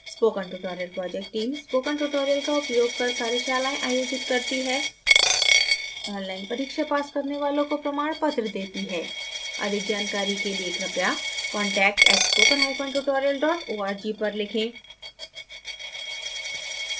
spoken tutorial project teamspoken tutorial का उपयोग कर कार्यशालाएं आयोजित करती है ऑनलाइन परीक्षा पास करने वालों को प्रमाण पत्र देती है